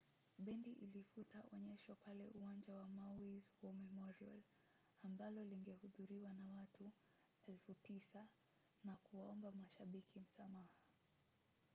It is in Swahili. bendi ilifuta onyesho pale uwanja wa maui’s war memorial ambalo lingehudhuriwa na watu 9,000 na kuwaomba mashabiki msamaha